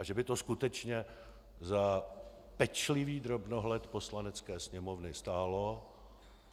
A že by to skutečně za pečlivý drobnohled Poslanecké sněmovny stálo.